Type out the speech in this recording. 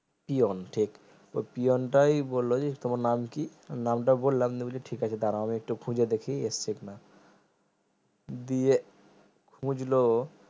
peon ঠিক ওই পিওনতাই বললো যে তোমার নামকি নামটা বললাম নিয়ে ঠিকাছে দাঁড়াও আমি একটু খুঁজে দেখি এসছে কি না দিয়ে খুঁজলো